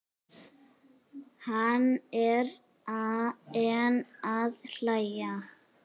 Hann er enn að hlæja.